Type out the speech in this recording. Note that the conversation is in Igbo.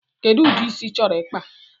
Kedu udi ịsị ị chọrọ ikpa?